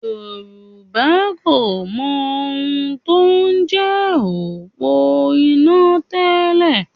Yorùbá kò mọ ohun tó ń jẹ́ òpó iná tẹ́lẹ̀